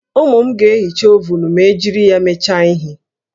Ụmụ m ga-ehicha ovunu ma e jiri ya mecha ihe